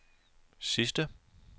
sidste